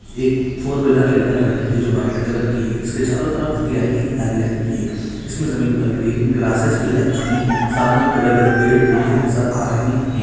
एक four wheeler निकल रही है जो की व्हाइट कलर की है इसके चारो तरफ हरियाली ही हरियाली है। इसमे जमीन पर ग्रीन ग्रासेस भी लग चुकी है। सामने बड़े बड़े पेड़ पौधे नजर आ रहे हैं।